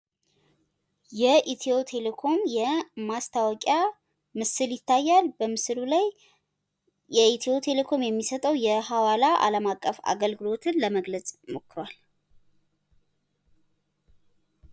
የኢትዮ ቴሌኮም የማስታወቂያ ምስል ይታያል። በምስሉ ላይ የኢትዮ ቴሌኮም የሚሰጠዉ የሀዋላ አለማቀፍ አገልግሎትን ለመግለዕ ሞክራል